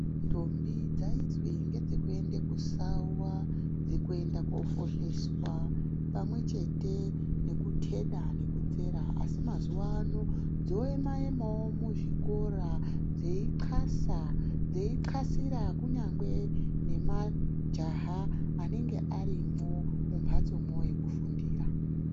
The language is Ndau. Ndombi dzaizwi ngedze kuende kusawa ,dzekuenda koofosheswa pamwechete nekuteda nekudzera asi mazuano dzoema ema wo mu zvikora dzeinxlasa ,dzeinxlasira kunyangwe nemajaha anenge arimwo mumhatsoyo yekufundira.